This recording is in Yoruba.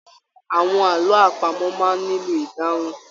Àwọn àlọ àpamò máa ń nílò ìdáhùn.